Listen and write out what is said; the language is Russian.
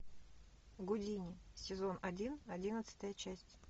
гудини сезон один одиннадцатая часть